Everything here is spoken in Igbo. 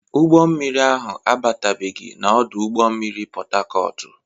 Ụgbọ mmiri ahụ abatabeghi na ọdụ ụgbọ mmiri Pọtakọọtụ.